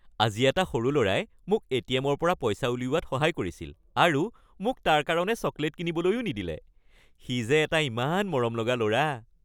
আজি এটা সৰু ল'ৰাই মোক এ.টি.এম.-ৰ পৰা পইচা উলিওৱাত সহায় কৰিছিল আৰু মোক তাৰ কাৰণে চকলেট কিনিবলৈও নিদিলে। সি যে এটা ইমান মৰমলগা ল'ৰা।